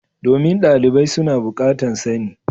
Domin dalibai su na bukatan sani.